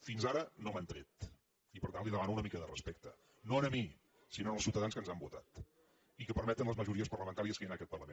fins ara no me n’han tret i per tant li demano una mica de respecte no a mi sinó als ciutadans que ens han votat i que permeten les majories parlamentàries que hi ha en aquest parlament